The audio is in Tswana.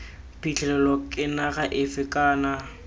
phitlhelelo ke naga efe kana